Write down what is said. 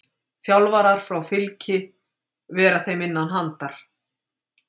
Þjálfarar frá Fylkir vera þeim innan handar.